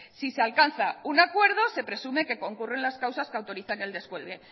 si se alcanza un acuerdo se presume que concurren las causas que autorizan el descuelgue